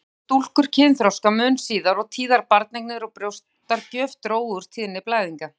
Bæði urðu stúlkur kynþroska mun síðar og tíðar barneignir og brjóstagjöf drógu úr tíðni blæðinga.